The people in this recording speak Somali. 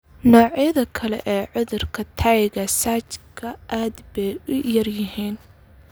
Noocyada kale ee cudurka Tayka Sachka aad bay u yar yihiin.